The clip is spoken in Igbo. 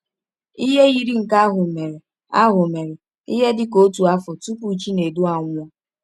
Ihe yiri nke ahụ mere ahụ mere ihe dị ka otu afọ tupu Chinedu anwụọ.